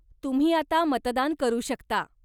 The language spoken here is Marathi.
तुम्ही आता मतदान करू शकता.